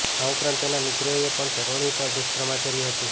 આ ઉપરાંત તેના મિત્રોએ પણ તરૂણી પર દુષ્કર્મ આચર્યુ હતું